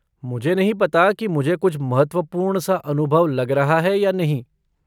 मुझे नहीं पता कि मुझे कुछ महत्वपूर्ण सा अनुभव लग रहा है या नहीं।